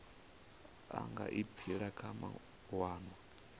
a nga aphila kha mawanwa